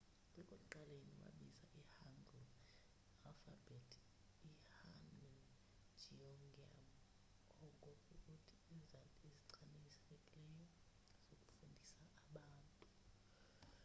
ekuqaleni wabiza i-hangeul alfabhethi i-hunmin jeongeum oko kukuthi izandi ezichanekileyo zokufundisa abantu